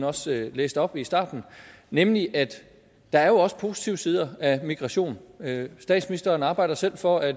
også læste op i starten nemlig at der jo også er positive side af migration statsministeren arbejder selv for at